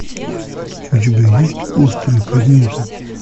у тебя есть острые предметы